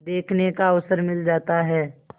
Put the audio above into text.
देखने का अवसर मिल जाता है